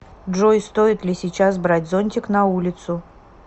джой стоит ли сейчас брать зонтик на улицу